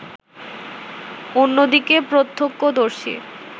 অন্যদিকে প্রত্যক্ষদর্শী